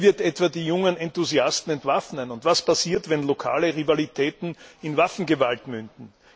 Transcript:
Wer wird etwa die jungen Enthusiasten entwaffnen? Und was passiert, wenn lokale Rivalitäten in Waffengewalt münden?